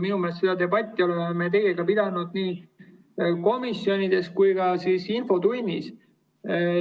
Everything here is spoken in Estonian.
Minu meelest oleme me seda debatti pidanud nii komisjonides kui ka infotunnis.